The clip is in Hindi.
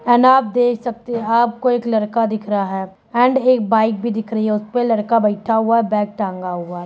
एंड आप देख सकते हैं आपको एक लड़का दिख रहा है एंड एक बाइक भी दिख रही है उसपे लड़का बैठा हुआ है बैग टांगा हुआ है।